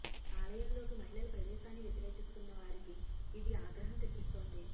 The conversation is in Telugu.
ఆలయంలోకి మహిళల ప్రవేశాన్ని వ్యతిరేకిస్తున్న వారికి ఇది ఆగ్రహం తెప్పిస్తోంది